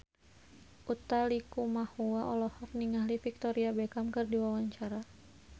Utha Likumahua olohok ningali Victoria Beckham keur diwawancara